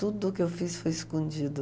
Tudo que eu fiz foi escondido.